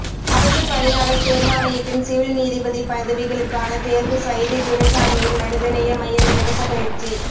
அரசு பணியாளர் தேர்வாணையத்தின் சிவில் நீதிபதி பதவிகளுக்கான தேர்வு சைதை துரைசாமியின் மனிதநேய மையம் இலவச பயிற்சி